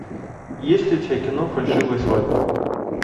есть ли у тебя кино фальшивая свадьба